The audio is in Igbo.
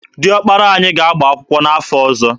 Dị ọkpara anyị ga-agba akwụkwọ n'afọ ọzọ.